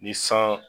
Ni san